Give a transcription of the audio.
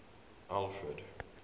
alfred